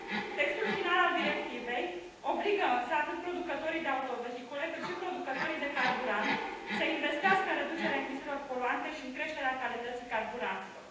Textul final al Directivei obligă, însă, atât producătorii de autovehicule, cât și producătorii de carburant, să investească în reducerea emisiilor poluante și în creșterea calității carburanților.